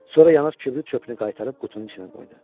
Sonra yanaq kibrit çöpünü qaytarıb qutunun içinə qoydu.